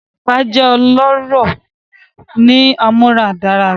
Epa jẹ ọlọrọ ni amuaradagba.